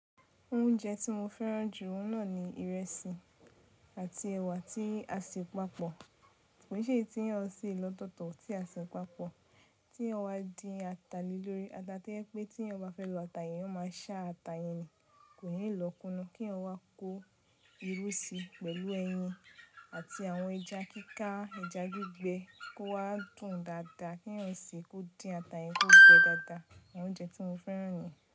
Oúnjẹ tí mo fẹ́ràn jù oun náà ni ìrẹsì àti ẹ̀wà tí a se pàpọ̀. Kò ṣe èyí ti èèyàn se lọ́tọ̀tọ̀ tí a se pàpọ̀ tí èèyàn wá dín ata le lórí. Ata to jẹ́ pé tí èèyàn bá fẹ́ lo ata yẹn, èèyàn máa ṣá ata yẹn ni, kò ní lọ̀ kúnná. Kí èèyàn wá kó irú sí pẹ̀lú ẹyin àti àwọn ẹja kíká, ẹja gbígbẹ kó wá dùn dáadáa. Kí èèyàn se kó dín ata yẹn kó gbẹ dáadáa. Àwọn oúnjẹ tí mo fẹ́ràn nìyẹn.